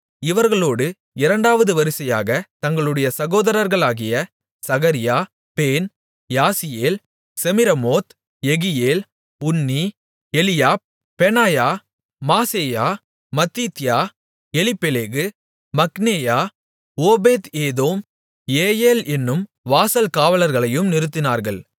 இவர்களோடு இரண்டாவது வரிசையாகத் தங்களுடைய சகோதரர்களாகிய Zechariah Ben Jaaziel Shemiramoth Jehiel Unni Eliab Benaiah Maaseiah Mattithiah Eliphelehu மிக்னேயா ஓபேத்ஏதோம் ஏயெல் என்னும் வாசல் காவலாளர்களையும் நிறுத்தினார்கள்